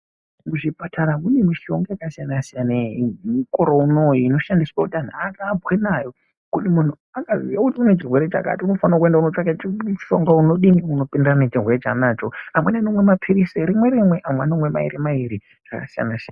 Muzvipatara mune mishonga yakasiyana siayana yemukore unowu inodhandiswa kuti anhi asaaambwe nayo kuti munhu aziye kuti une chirwere chakati unofana kuti aende kunotsvaka kuti mushonga unowu unodini unopindirana nechirwere chaanacho amweni anomwa mapirizi rimwe rimwe amwe anomwa mairi mairi zvaka siyana siyana.